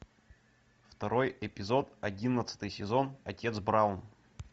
второй эпизод одиннадцатый сезон отец браун